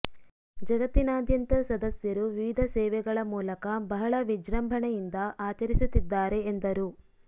ಜಗತ್ತಿನಾದ್ಯಂತ ಸದಸ್ಯರು ವಿವಿಧ ಸೇವೆಗಳ ಮೂಲಕ ಬಹಳ ವಿಜೃಂಭಣೆಯಿಂದ ಆಚರಿಸುತ್ತಿದ್ದಾರೆ ಎಂದರು